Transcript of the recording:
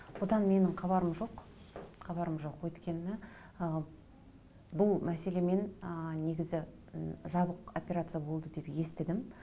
бұдан менің хабарым жоқ хабарым жоқ өйткені ы бұл мәселемен ы негізі жабық операция болды деп естідім